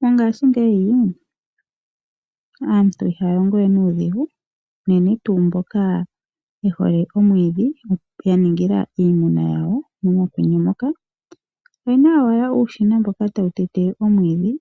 Mongaashi ngeyi, aantu ihaya longo we nuudhigu unene tuu mboka yehole omwiidhi ya ningila iimuna yawo mokwenye moka. Oyena owala uushina mboka tawu tete omwiidhi